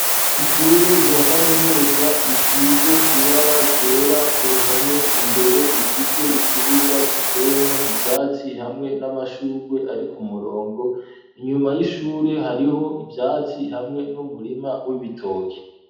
Ishure rya kaminuza risize ibara ryera ku ruhome, imbere rifise ikibuga kiteyemwo ivyatsi hamwe n'amashurwe ari ku murongo, inyuma y'ishure hariho ivyatsi hamwe n'umurima w'ibitoke.